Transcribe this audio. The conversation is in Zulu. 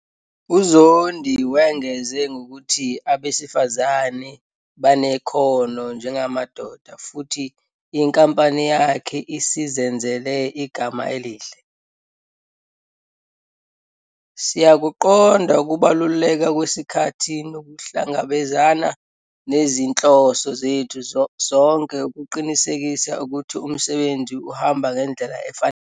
UZondi wengeze ngokuthi abesifazane banekhono njengamadoda futhi inkampani yakhe isizenzele igama elihle. "Siyakuqonda ukubaluleka kwesikhathi nokuhlangabezana nezinhloso zethu sonke ukuqinisekisa ukuthi umsebenzi uhamba ngendlela efanele."